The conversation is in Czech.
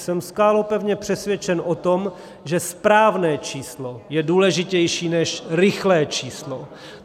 Jsem skálopevně přesvědčen o tom, že správné číslo je důležitější než rychlé číslo.